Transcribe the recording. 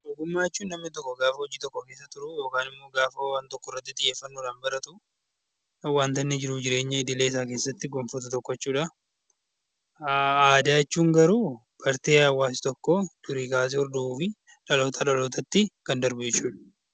Ogummaa jechuun gaafa namni tokko hojii tokko keessa turu yookiin immoo gaafa wanta tokko irratti xiyyeeffannoon baratu kan wanta inni jiruuf jireenya idileee isaa keessatti itti gonfatu jechuudha. Aadaa jechuun garuu bartee hawwaasa tokkoo durii kaasee hordofuu fi dhalootaa dhalootatti kan darbu jechuudha.